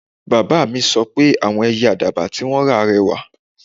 Baba mi sọ pe awọn Ẹyẹ Àdàbà ti won ra rẹwà